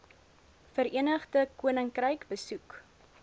verenigde koninkryk besoek